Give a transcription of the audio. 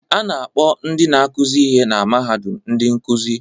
A na-akpọ ndị na-akụzi ihe na mahadum ndị nkuzi